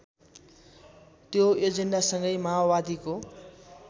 त्यो एजेन्डासँगै माओवादीको